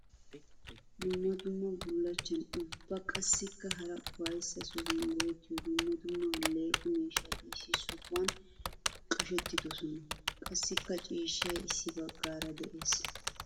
Dumma dumma bullachchan ubba qassikka hara ufayssa sohuwan go'ettiyo dumma dumma aleeqqo miishshatti issi sohuwan qashettidosnna. Qassikka ciishshay issi bagara de'ees.